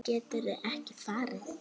Geturðu ekki farið?